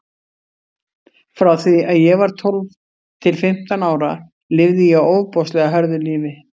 Frá því að ég var tólf til fimmtán ára lifði ég ofboðslega hörðu lífi.